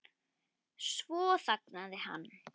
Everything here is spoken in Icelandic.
Svo þagnaði hann.